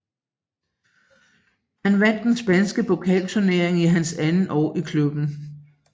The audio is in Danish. Han vandt den spanske pokalturnering i hans andet år i klubben